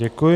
Děkuji.